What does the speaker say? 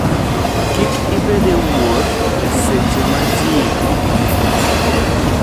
Kik ibed e wuoth e seche ma ji ng'enyie.